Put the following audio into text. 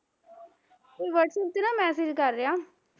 whatsapp ਤੇ ਨਾ message ਕਰ ਰਿਹਾ